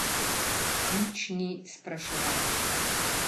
Nič ni spraševal.